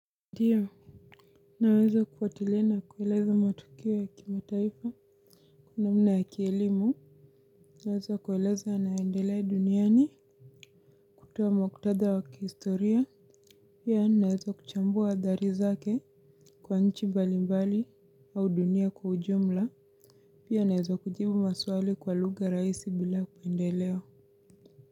Ndio naweza kufuatilia na kueleza matukio ya kimataifa namna ya kielimu, naweza kueleza yanayoendelea duniani, kutuo muktadha wakihistoria, pia naweza kuchambua adhari zake kwa nchi balimbali au dunia kwa ujumla, pia naweza kujibu maswali kwa luga raisi bila pendeleo.